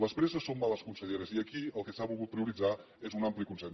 les presses són males conselleres i aquí el que s’ha volgut prioritzar és un ampli consens